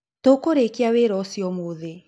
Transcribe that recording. Tũkũrĩkĩa wĩra ũcĩo ũmũthĩ.